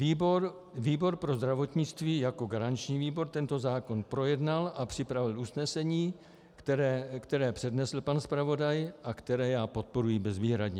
Výbor pro zdravotnictví jako garanční výbor tento zákon projednal a připravil usnesení, které přednesl pan zpravodaj a které já podporuji bezvýhradně.